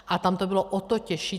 A tam to bylo o to těžší.